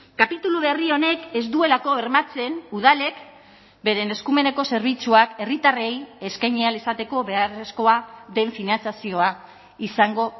kapitulu berri honek ez duelako bermatzen udalek beren eskumeneko zerbitzuak herritarrei eskaini ahal izateko beharrezkoa den finantzazioa izango